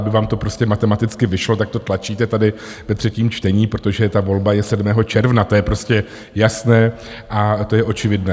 Aby vám to prostě matematicky vyšlo, tak to tlačíte tady ve třetím čtení, protože ta volba je 7. června, to je prostě jasné a to je očividné.